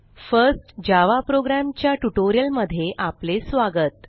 first Java program च्या ट्युटोरियलमध्ये आपले स्वागत